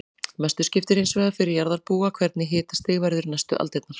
Mestu skiptir hins vegar fyrir jarðarbúa hvernig hitastig verður næstu aldirnar.